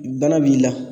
Bana b'i la